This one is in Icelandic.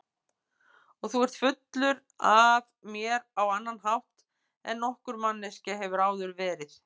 Og þú ert fullur af mér á annan hátt en nokkur manneskja hefur áður verið.